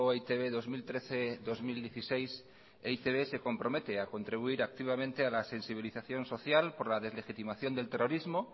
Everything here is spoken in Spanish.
e i te be dos mil trece dos mil dieciséis e i te be se compromete a contribuir activamente a la sensibilización social por la deslegitimación del terrorismo